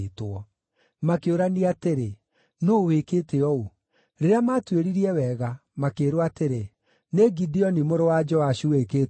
Makĩũrania atĩrĩ, “Nũũ wĩkĩte ũũ?” Rĩrĩa maatuĩririe wega, makĩĩrwo atĩrĩ, “Nĩ Gideoni mũrũ wa Joashu wĩkĩte ũguo.”